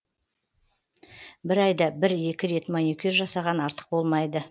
бір айда бір екі рет маникюр жасаған артық болмайды